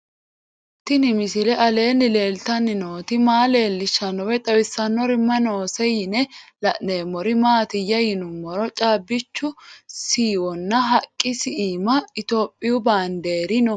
Tenni misile aleenni leelittanni nootti maa leelishshanno woy xawisannori may noosse yinne la'neemmori maattiya yinummoro caabbichu shiwonna haqqisi iimma ithiopiyu baandeeri noo